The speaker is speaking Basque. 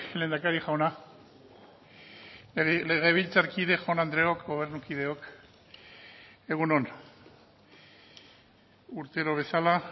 lehendakari jauna legebiltzarkide jaun andreok gobernukideok egun on urtero bezala